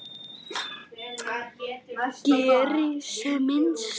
Geri sem minnst.